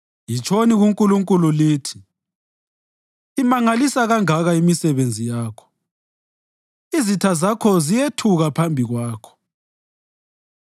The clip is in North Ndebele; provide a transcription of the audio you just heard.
Yitshoni kuNkulunkulu lithi, “Imangalisa kangaka imisebenzi yakho! Izitha Zakho ziyethuka phambi Kwakho